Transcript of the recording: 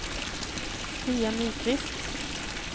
Pia Nyqvist